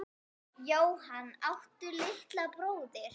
Jóhann: Áttu litla bróðir?